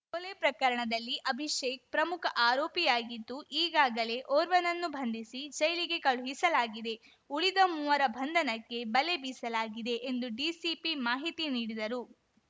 ಕೊಲೆ ಪ್ರಕರಣದಲ್ಲಿ ಅಭಿಷೇಕ್‌ ಪ್ರಮುಖ ಆರೋಪಿಯಾಗಿದ್ದು ಈಗಾಗಲೇ ಓರ್ವನನ್ನು ಬಂಧಿಸಿ ಜೈಲಿಗೆ ಕಳುಹಿಸಲಾಗಿದೆ ಉಳಿದ ಮೂವರ ಬಂಧನಕ್ಕೆ ಬಲೆ ಬೀಸಲಾಗಿದೆ ಎಂದು ಡಿಸಿಪಿ ಮಾಹಿತಿ ನೀಡಿದರು